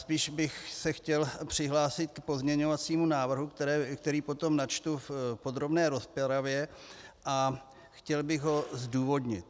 Spíš bych se chtěl přihlásit k pozměňovacímu návrhu, který potom načtu v podrobné rozpravě, a chtěl bych ho zdůvodnit.